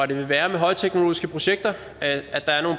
det vil være med højteknologiske projekter